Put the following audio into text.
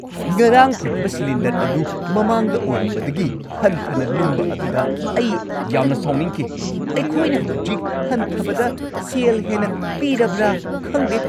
ꯉꯔꯥꯡ ꯐꯪꯈꯤꯕ ꯁꯤꯂꯤꯟꯗꯔ ꯑꯗꯨ ꯃꯃꯥꯡꯗ ꯑꯣꯏꯔꯝꯕꯗꯒꯤ ꯍꯟꯊꯅ ꯂꯨꯝꯕ ꯑꯗꯨꯗ ꯑꯩ ꯌꯥꯝꯅ ꯁꯥꯎꯅꯤꯡꯈꯤ꯫ ꯑꯩꯈꯣꯏꯅ ꯍꯧꯖꯤꯛ ꯍꯟꯊꯕꯗ ꯁꯦꯜ ꯍꯦꯟꯅ ꯄꯤꯔꯕ꯭ꯔꯥ ꯈꯪꯗꯦ꯫